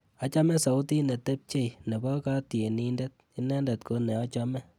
Achame sautit netepche nebo katyenindet, inendet ko ne achame.